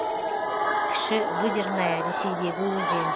кіші выдерная ресейдегі өзен